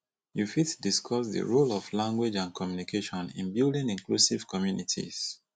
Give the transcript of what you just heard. you fit discuss di role of language and communication in building inclusive communities